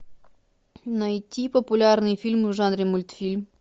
найти популярные фильмы в жанре мультфильм